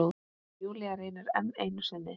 Júlía reynir enn einu sinni.